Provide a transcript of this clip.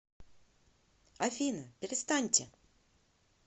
афина перестаньте